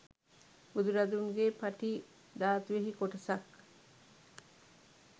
බුදුරදුන් ගේ පටී ධාතුවෙහි කොටසක්